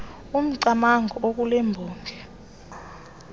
umcamango okule mbongi